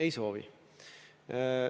Ei soovi.